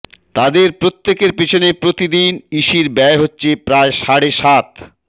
তাদের প্রত্যেকের পেছনে প্রতিদিন ইসির ব্যয় হচ্ছে প্রায় সাড়ে সাত